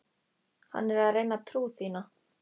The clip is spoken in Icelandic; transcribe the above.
Hann er að reyna trú þína.